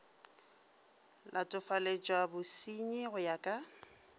latofaletšwa bosernyi go ya ka